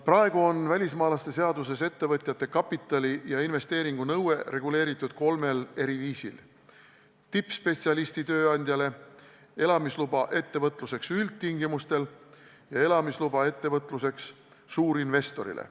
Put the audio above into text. Praegu on välismaalaste seaduses ettevõtjate kapitali ja investeeringu nõue reguleeritud kolmel eri viisil: tippspetsialisti tööandjale, elamisluba ettevõtluseks üldtingimustel ja elamisluba ettevõtluseks suurinvestorile.